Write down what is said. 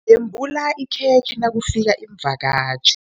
Yembula ikhekhe nakufika iimvakatjhi.